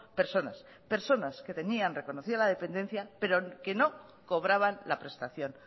personas personas que tenían reconocida la dependencia pero que no cobraban la prestación